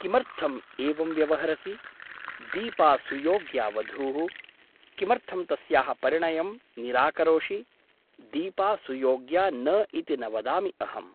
किमर्थम् एवं व्यवहरसि ? दीपा सुयोग्या वधूः । किमर्थं तस्याः परिणयं निराकरोषि ? दीपा सुयोग्या न इति न वदामि अहम् ।